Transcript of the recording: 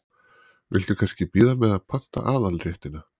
Viltu kannski bíða með að panta aðalréttina?